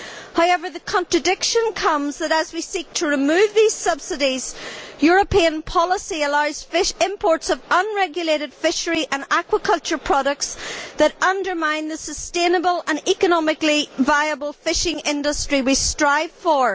However, the contradiction comes that, as we seek to remove these subsidies, European policy allows fish imports of unregulated fishery and aquaculture products that undermine the sustainable and economically viable fishing industry we strive for.